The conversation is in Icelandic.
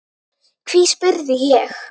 Hví, spurði ég?